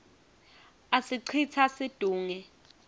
asicitsa situnge